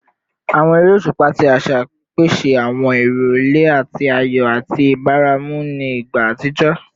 Awọn ere oṣupa ti aṣa pese awọn irọlẹ ti ayọ ati ibaramu ni igba atijọ